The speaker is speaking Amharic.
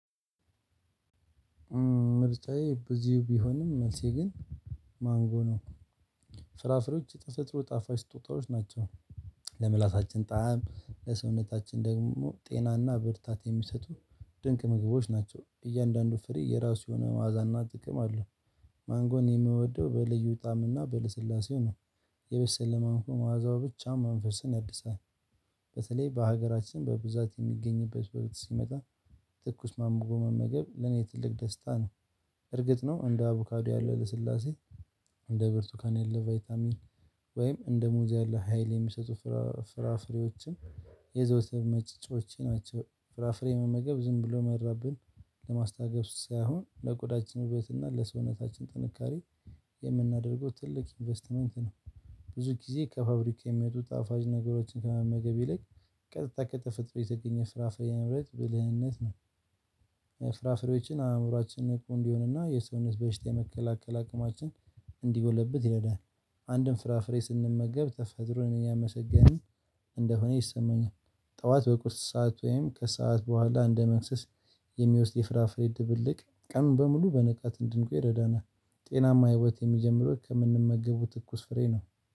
ምርጫዬ ብዙ ቢሆንም መልሴ ግን ማንጎ ነው። ፍራፍሬዎች የተፈጥሮ ጣፋጭ ስጦታዎች ናቸው። ለምላሳችን ጣዕም ለሰውነታችን ደግሞ ጤናና ብርታት የሚሰጡ ድንቅ ምግቦች ናቸው እያንዳንዱ ፍሬ የራሱ የሆነ ማዕዛና ጥቅም አለው። ማንጎን የምወደው በልዩ ጣም እና በልስላሴ ነው። የበሰለ ማንጎ መዓዛው ብቻውን መንፈስን ያድሳል። በተለይ በሀገራችን በብዛት የሚገኝበት ቦታ ስንመጣ። ትኩስ ማንጎ መመገብ ለኔ ትልቅ ደስታ ነው። እርግጥ ነው እንደ አቡካዶ ያለው ልስላሴ እንደ ብርቱካን ያለው ቫይታሚን ወይም እንደ ሙዝ ሀይል የሚሰጡ ፍራ ፍራፍሬዎችን የዘውትር መጫወቻየ ናቸው። ፍራፍሬ መመገብ ዝም ብሎ መራብን ለማስታገስ ሳይሆን ለቆዳችን ውበት እና ለሰውነታችን ጥንካሬ የምናደርገው ትልቅ ኢንቨስትመንት ነው። ብዙ ጊዜ ከፋብሪካ የሚወጡ ጣፈጭ ነገሮችን ከመመገብ ይልቅ ቀጥታ ከተፈጥሮ የተገኘ ፍራፍሬ መምረጥ ብልህነት ነው። ፍራፍሬዎችን አእምሮአችንን ንቁ እንዲሆንና የሰውነት በሽታ የመከላከል አቅማችን እንዲጎለብት ይረዳል። አንድን ፍራፍሬ ስንመገብ ተፈጥሮን እያመሰገን እንደሆነ ይሰማኛል። ጠዋት በቁርስ ሰዓት ወይም ከሰአት በኋላ እንደ መክሰስ የሚወስድ የፍራፍሬ ድብልቅ ቀኑን በሙሉ በንቃት እንድንቆይ ይረዳናል። ጤናማ ህይወት የሚጀምረው ከምንመገቡ ትኩስ ፍሬ ነው